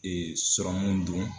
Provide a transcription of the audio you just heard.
sɔrɔmunw don.